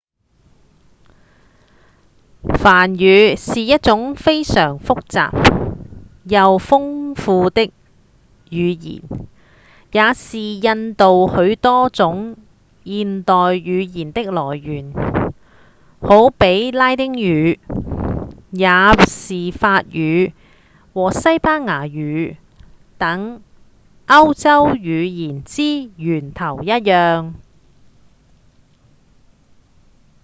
梵語是一種非常複雜又豐富的語言也是印度許多種現代語言的來源好比拉丁語也是法語和西班牙語等歐洲語言之源頭一樣